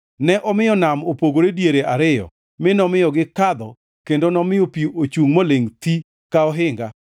Ne omiyo nam opogore diere ariyo mi nomiyo gikadho kendo nomiyo pi ochungʼ molingʼ thi ka ohinga.